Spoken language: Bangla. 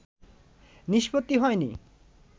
নিষ্পত্তি হয়নি